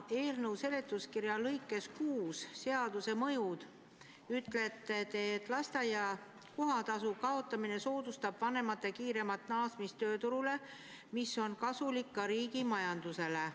Oma eelnõu seletuskirja punktis 6 "Seaduse mõjud" te ütlete, et lasteaia kohatasu kaotamine soodustab vanemate kiiremat naasmist tööturule, mis on kasulik ka riigi majandusele.